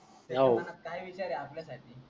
आहो काई विषय आहेत ते आपल्यासाठी